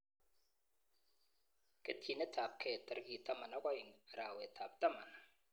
Ketyinetabgei tarik 12 arawetab taman